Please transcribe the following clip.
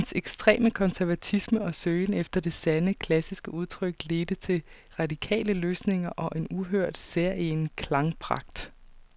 Hans ekstreme konservatisme og søgen efter det sande, klassiske udtryk ledte til radikale løsninger og en uhørt, særegen klangpragt.